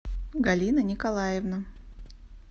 галина николаевна